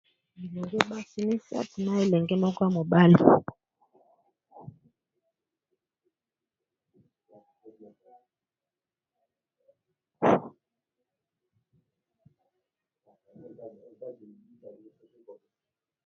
Bilengi basi misato na elenge moko ya mobali.